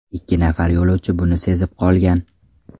Ikki nafar yo‘lovchi buni sezib qolgan.